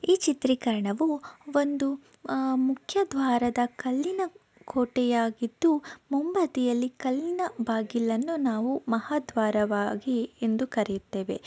ಈ ಚಿತ್ರೀಕರಣವು ಒಂದು ಆ ಮುಖ್ಯ ದ್ವಾರದ ಕಲ್ಲಿನ ಕೋಟೆಯಾಗಿದ್ದು ಮುಂಬದಿಯಲ್ಲಿ ಕಲ್ಲಿನ ಬಾಗಿಲನ್ನು ನಾವು ಮಹಾ ದ್ವಾರವಾಗಿ ಎಂದು ಕರೆಯುತ್ತೇವೆ.